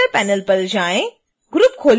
parameter panel पर जाएँ